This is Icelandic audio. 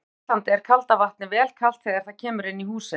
Hér á Íslandi er kalda vatnið vel kalt þegar það kemur inn í húsin.